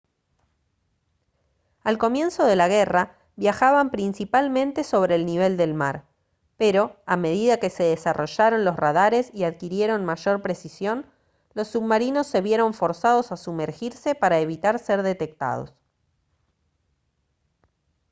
al comienzo de la guerra viajaban principalmente sobre el nivel del mar pero a medida que se desarrollaron los radares y adquirieron mayor precisión los submarinos se vieron forzados a sumergirse para evitar ser detectados